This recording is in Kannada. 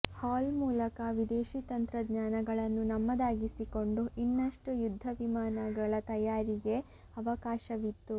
ಹಾಲ್ ಮೂಲಕ ವಿದೇಶಿ ತಂತ್ರಜ್ಞಾನಗಳನ್ನು ನಮ್ಮದಾಗಿಸಿಕೊಂಡು ಇನ್ನಷ್ಟು ಯುದ್ಧವಿಮಾನಗಳ ತಯಾರಿಗೆ ಅವಕಾಶವಿತ್ತು